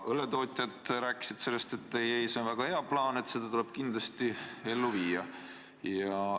Ja õlletootjad ütlesid, et ei-ei, see on väga hea plaan ja tuleb kindlasti ellu viia?